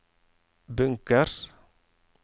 bunkers